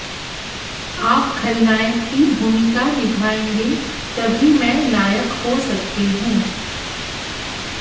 आप खलनायक की भूमिका निभाएंगे तभी मैं नायक हो सकती हूं